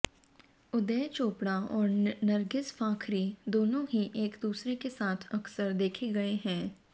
उदय चोपड़ा और नर्गिस फाखरी दोनो ही एक दूसरे के साथ अक्सर देखे गये हैं